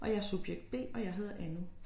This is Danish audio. Og jeg er subjekt B og jeg hedder Anni